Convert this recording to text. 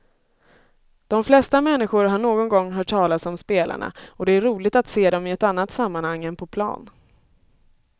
De flesta människor har någon gång hört talas om spelarna och det är roligt att se dem i ett annat sammanhang än på plan.